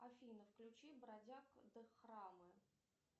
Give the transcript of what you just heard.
афина включи бродяг дхармы